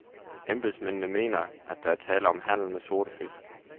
Embedsmændene mener, at der er tale om handel med sorte fisk.